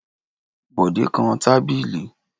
Bọ̀dé kan tábìlì.